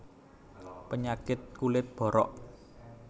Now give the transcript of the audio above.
Penyakit kulit borok